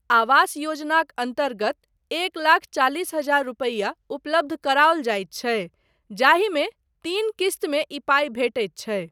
आवास योजनाक अन्तर्गत एक लाख चालीस हजार रुपैआ उपलब्ध कराओल जाइत छै जाहिमे तीन क़िस्तमे ई पाइ भेटैत छै।